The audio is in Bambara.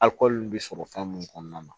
Akɔli bɛ sɔrɔ fɛn mun kɔnɔna na